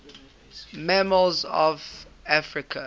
mammals of africa